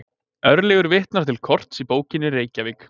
Örlygur vitnar til korts í bókinni Reykjavík.